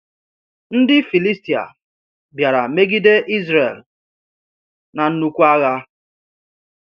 Ndị Filistia bịara megide Izrel na nnukwu agha.